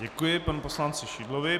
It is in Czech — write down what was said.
Děkuji panu poslanci Šidlovi.